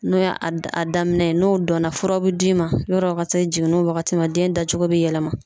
N'o y'a a daminɛ n'o dɔnna furaw bi d'i ma yɔrɔ ka se jiginni wagati ma den dacogo be yɛlɛma